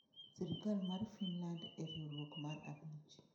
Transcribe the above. Sirkal mar Finland en riwruok mar abich